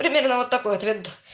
примерно вот такой ответ